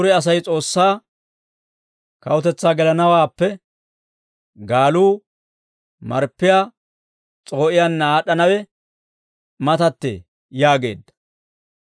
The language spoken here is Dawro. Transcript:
Dure Asay S'oossaa kawutetsaa gelanawaappe, gaaluu marppiyaa s'oo'iyaanna aad'd'anawe matattee» yaageedda.